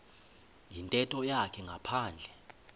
yintetho yakhe ngaphandle